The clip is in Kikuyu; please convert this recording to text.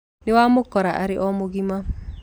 Nĩwamukora arĩ o mũgima.